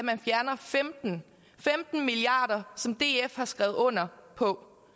man fjerner femten milliard kr som df har skrevet under på